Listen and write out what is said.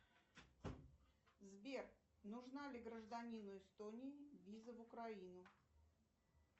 сбер нужна ли гражданину эстонии виза в украину